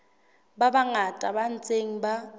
ba bangata ba ntseng ba